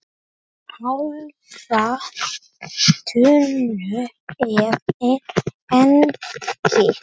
Hálfa tunnu af ediki.